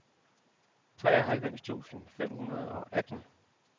treoghalvfems tusind fem hundrede og atten